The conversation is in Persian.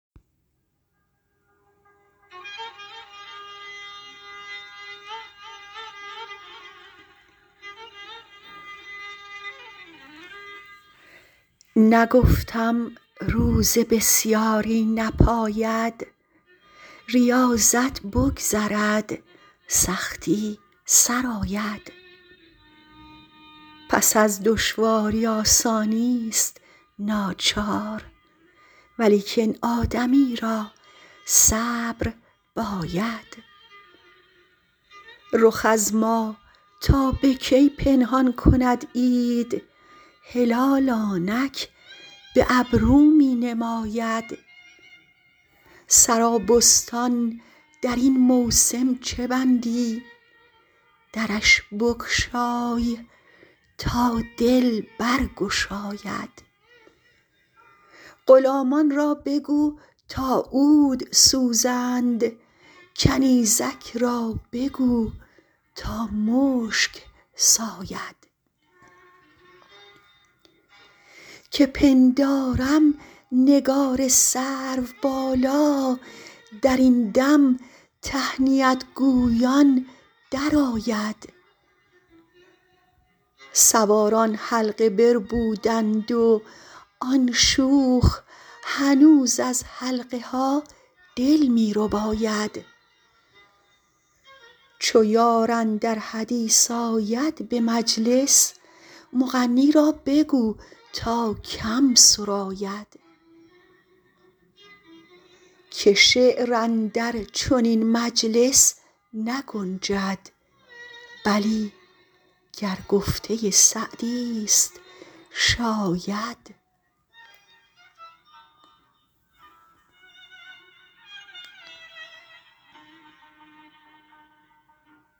نگفتم روزه بسیاری نپاید ریاضت بگذرد سختی سر آید پس از دشواری آسانیست ناچار ولیکن آدمی را صبر باید رخ از ما تا به کی پنهان کند عید هلال آنک به ابرو می نماید سرابستان در این موسم چه بندی درش بگشای تا دل برگشاید غلامان را بگو تا عود سوزند کنیزک را بگو تا مشک ساید که پندارم نگار سروبالا در این دم تهنیت گویان درآید سواران حلقه بربودند و آن شوخ هنوز از حلقه ها دل می رباید چو یار اندر حدیث آید به مجلس مغنی را بگو تا کم سراید که شعر اندر چنین مجلس نگنجد بلی گر گفته سعدیست شاید